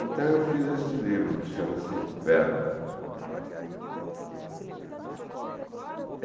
Então eu fiz este livro que chama-se Verba.